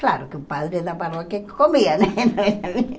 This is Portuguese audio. Claro que o padre da paróquia que comia, né?